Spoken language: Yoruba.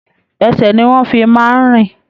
Ẹsẹ ní wọn fí máa n rìn.